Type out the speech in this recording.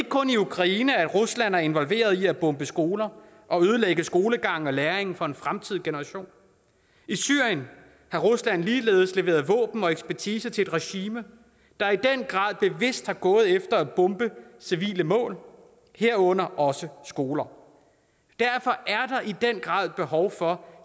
kun i ukraine at rusland er involveret i at bombe skoler og ødelægge skolegangen og læringen for en fremtidig generation i syrien har rusland ligeledes leveret våben og ekspertise til et regime der i den grad bevidst er gået efter at bombe civile mål herunder også skoler derfor er der i den grad behov for